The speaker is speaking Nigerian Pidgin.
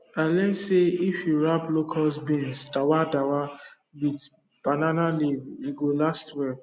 i learn say if you wrap locust bean dawadawa with banana leaf e go last well